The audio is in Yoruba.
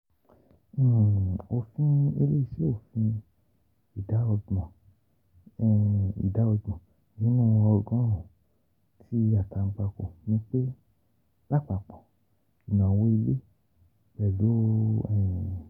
Ofin ile-iṣẹ Ofin Ida ọgbọn Ida ọgbọn ninu ogorun-un ti atanpako ni pe lapapọ inawo ile, pẹlu